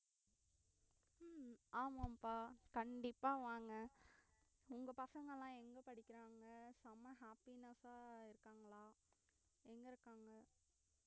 உம் ஆமாம்ப்பா கண்டிப்பா வாங்க உங்க பசங்களாம் எங்க படிக்கிறாங்க செம்ம happiness ஆ இருக்காங்களா எங்க இருக்காங்க